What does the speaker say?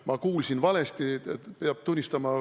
Ma kuulsin valesti, peab tunnistama.